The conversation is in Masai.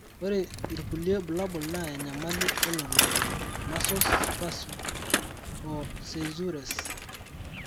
Ore irkulie bulabol naa enyamali elototo, muscle spasms, o seizures.